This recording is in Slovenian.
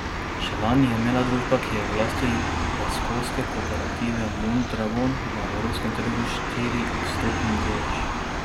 Še lani je imela družba, ki je v lasti baskovske kooperative Mondragon, na evropskem trgu štiriodstotni delež.